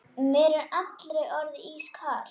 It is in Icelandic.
Mér er allri orðið ískalt.